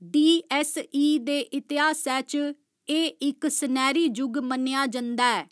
DSE. दे इतिहासै च एह् इक सनैह्‌री जुग मन्नेआ जंदा ऐ।